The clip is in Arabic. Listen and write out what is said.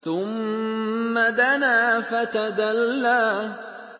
ثُمَّ دَنَا فَتَدَلَّىٰ